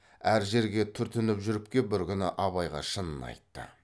әр жерге түртініп жүріп кеп бір күні абайға шынын айтты